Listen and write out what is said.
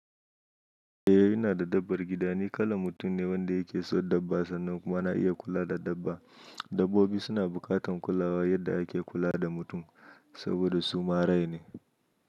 Eh ina da dabbar gida ni kalar mutum ne wanda yake son dabba sannan kuma na iya kula da dabba. Dabbobi suna bukatan kulawa yadda ake kula da mutum saboda su ma rai ne.